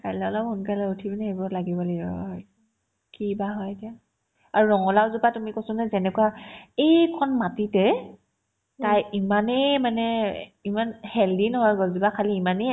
কাইলে অলপ সোনকালে উঠি পিনে এইবোৰত লাগিব লাগিব কি বা হয় কি বা হয় এতিয়া আৰু ৰঙালাওজোপা তুমি কৈছো নহয় যেনেকুৱা এইকণ মাটিতে তাই ইমানে মানে ইমান healthy নহয় গছজোপা খালী ইমানেই